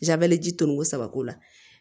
ji toliko saba k'o la